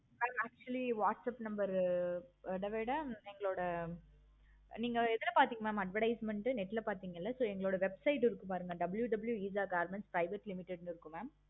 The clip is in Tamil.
actually whatsapp number அத விட எங்களோட நீங்க எதுல பார்த்தீங்க mam advertisement net ல பார்த்தீங்களா so எங்களோட website இருக்கும் பாருங்க WWW eesha government private limited இருக்கு mam